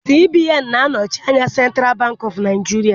CBN na-anochi ányá Central Bank of Nigieria